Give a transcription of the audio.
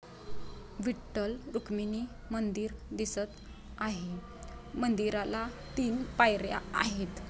विठ्ठल रुक्मिणी मंदिर दिसत आहे मंदिराला तीन पायर्‍या आहेत.